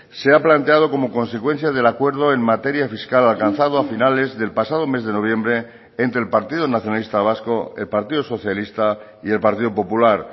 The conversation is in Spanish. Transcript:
se ha planteado como consecuencia del acuerdo en materia fiscal alcanzado a finales del pasado mes de noviembre entre el partido nacionalista vasco el partido socialista y el partido popular